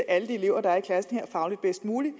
alle de elever der er i klassen fagligt bedst muligt